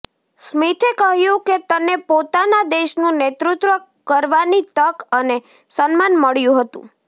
સ્મિથે કહ્યું કે તને પોતાના દેશનું નેતૃત્વ કરવાની તક અને સન્માન મળ્યું હતું